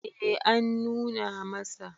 eh an nuna masa